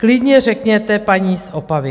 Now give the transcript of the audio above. Klidně řekněte paní z Opavy.